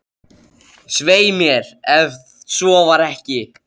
Svei mér, ef svo var ekki.